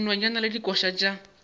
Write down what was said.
ya dinonyane le dikoša tša